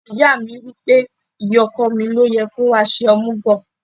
Ìyá mi wí pé, ìyá ọkọ mi ló yẹ kó wá ṣe omugo.